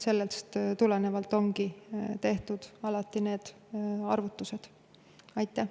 Sellest tulenevalt ongi need arvutused alati tehtud.